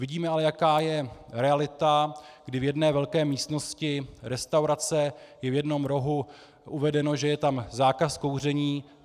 Vidíme ale, jaká je realita, kdy v jedné velké místnosti restaurace je v jednom rohu uvedeno, že je tam zákaz kouření.